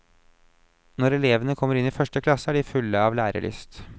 Når elevene kommer inn i første klasse, er de fulle av lærelyst.